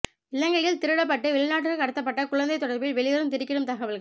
இலங்கையில் திருடப்பட்டு வெளிநாட்டிற்கு கடத்தப்பட்ட குழந்தை தொடர்பில் வெளிவரும் திடுக்கிடும் தகவல்கள்